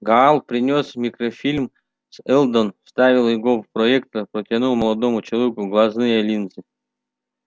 гаал принёс микрофильм а сэлдон вставив его в проектор протянул молодому человеку глазные линзы